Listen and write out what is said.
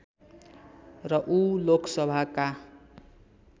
र ऊ लोकसभाका